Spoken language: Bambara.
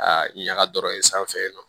A ɲaga dɔrɔn in sanfɛ